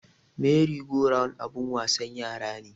Meri go round abun wasan yara ne